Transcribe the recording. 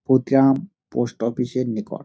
Patiram post office -এর নিকট ।